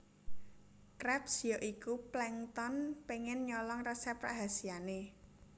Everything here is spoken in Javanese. Krabs ya iku Plankton pengen nyolong resep rahasiane